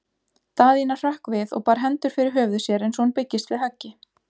Daðína hrökk við og bar hendur fyrir höfuð sér eins og hún byggist við höggi.